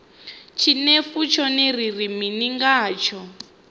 tshinefu tshone ri ri mini ngatsho